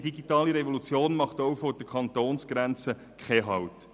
Die digitale Revolution macht auch vor der Kantonsgrenze keinen Halt.